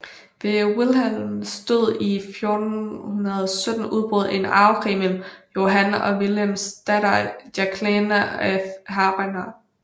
Ved Willems død i 1417 udbrød en arvekrig mellem Johan og Willems datter Jacqueline af Hainaut